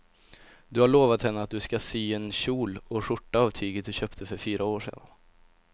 Du har lovat henne att du ska sy en kjol och skjorta av tyget du köpte för fyra år sedan.